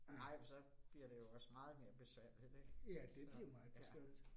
Nej, for så bliver det jo også meget mere besværligt ik, så, ja